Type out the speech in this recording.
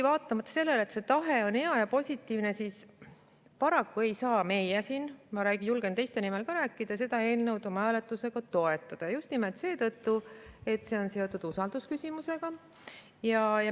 Vaatamata sellele, et tahe on hea ja positiivne, siis paraku ei saa meie siin – ma julgen ka teiste nimel rääkida – seda eelnõu oma häältega toetada just nimelt seetõttu, et see on seotud usaldusküsimusega.